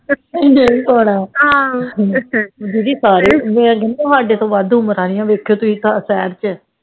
ਦੀਦੀ ਸਾਰੇ ਏ ਹਾਡੇ ਤੋਹ ਵੱਧ ਉਮਰ ਵਾਲਿਆਂ ਵੇਖਿਓ ਤੁਹੀ ਸ਼ਹਿਰ ਚ